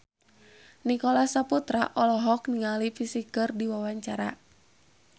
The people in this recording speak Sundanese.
Nicholas Saputra olohok ningali Psy keur diwawancara